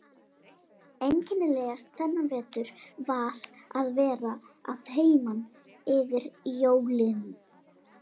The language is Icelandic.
Einkennilegast þennan vetur var að vera að heiman yfir jólin.